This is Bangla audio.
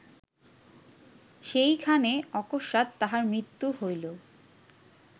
সেইখানে অকস্মাৎ তাঁহার মৃত্যু হইল